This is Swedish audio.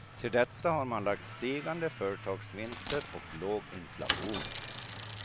Till detta har man lagt stigande företagsvinster och låg inflation.